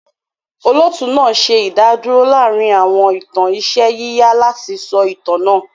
Olóòtú náà ṣe ìdádúrò láàárín àwọn ìtàn iṣẹ́ yíyà láti sọ itan náà.